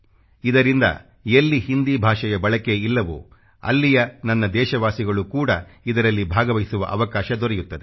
ಇದರಿಂದ ಎಲ್ಲಿ ಹಿಂದಿ ಭಾಷೆಯ ಬಳಕೆ ಇಲ್ಲವೋ ಅಲ್ಲಿಯ ನನ್ನ ದೇಶವಾಸಿಗಳು ಕೂಡ ಇದರಲ್ಲಿ ಭಾಗವಹಿಸುವ ಅವಕಾಶ ದೊರೆಯುತ್ತದೆ